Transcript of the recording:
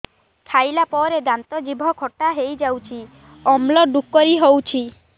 ଖାଇଲା ପରେ ଦାନ୍ତ ଜିଭ ଖଟା ହେଇଯାଉଛି ଅମ୍ଳ ଡ଼ୁକରି ହଉଛି